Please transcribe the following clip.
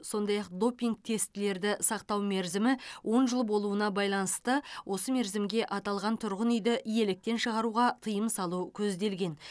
сондай ақ допинг тестілерді сақтау мерзімі он жыл болуына байланысты осы мерзімге аталған тұрғын үйді иеліктен шығаруға тыйым салу көзделген